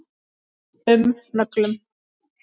um nöglum.